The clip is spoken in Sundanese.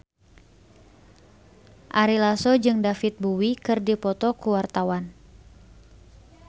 Ari Lasso jeung David Bowie keur dipoto ku wartawan